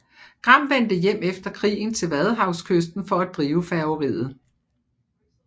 Gram vendte hjem efter krigen til Vadehavskysten for at drive færgeriet